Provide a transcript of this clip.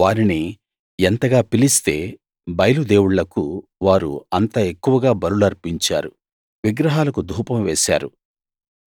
వారిని ఎంతగా పిలిస్తే బయలు దేవుళ్ళకు వారు అంత ఎక్కువగా బలులు అర్పించారు విగ్రహాలకు ధూపం వేశారు